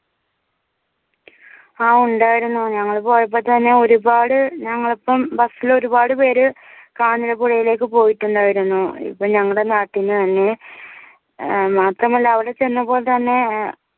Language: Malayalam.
അഹ് ഉണ്ടായിരുന്നു ഞങ്ങൾ പോയപ്പൊത്തന്നെ ഒരുപാട് ഞങ്ങൾക്കും bus ഇലൊരുപാട് പേര് കാഞ്ഞിരപ്പുഴയിലേക്ക് പോയിട്ടുണ്ടായിരുന്നു ഇപ്പൊ ഞങ്ങടെ നാട്ടീന്ന് തന്നെ ഏർ മാത്രമല്ല അവടെ ചെന്നപ്പോ തന്നെ ഏർ